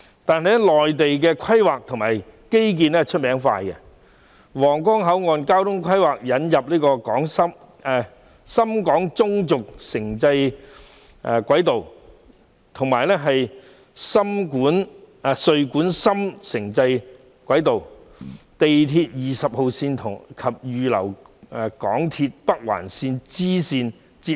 可是，內地的規劃及基建以快見稱，皇崗口岸交通規劃引入了深廣中軸城際軌道、穗莞深城際軌道及深圳地鐵20號線，並預留空間，以與港鐵北環綫連接。